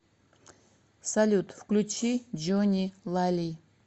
салют включи джони лали